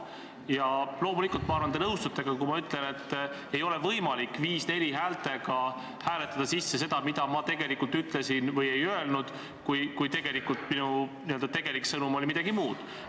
Ja loomulikult ma arvan, et te nõustute ka sellega, kui ma ütlen, et ei ole võimalik häältega 5 : 4 hääletada sisse seda, mida ma ütlesin või ei öelnud, kui minu tegelik sõnum oli midagi muud.